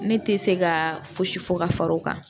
Ne tɛ se ka fosi fɔ ka far'o kan